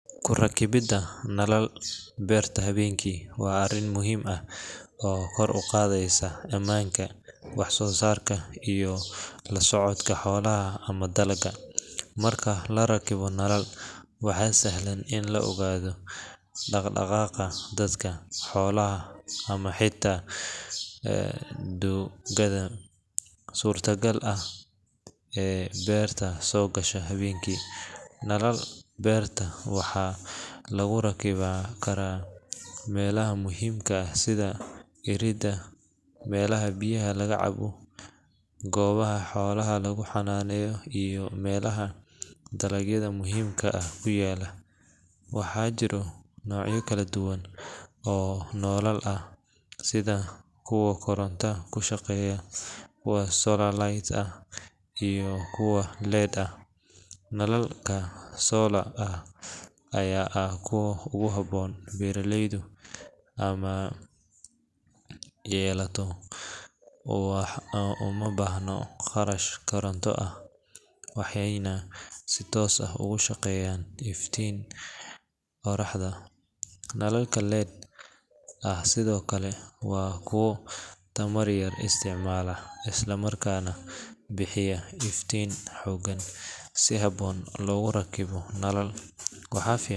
Kurakabida nalal hawenki waa arin muhiim ah oo kor uqadheysa wax sosarka iyo codka xolaha, waxaa surta gal ah in ee sogasha hawenki, waxaa muhiim ah in nalalka lagu xiro melaha muhiim ka ah, waxaa jira nolol kala duwan oo kuwa koronta kushaqeya waa solar light nalalka. solar aya ah kuwa ogu habon, nalalka lead waa kuwa bixiya nalal xog leh marka logu rakibo nalal.